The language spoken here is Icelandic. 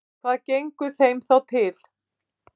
Hvað gengur þeim þá til?